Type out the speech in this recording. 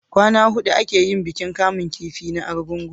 kwana hudu a ke yin bikin kamun kifi na argungu